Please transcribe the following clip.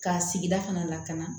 K'a sigi da kana lakana